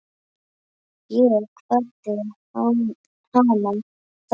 Ég kvaddi hana þá.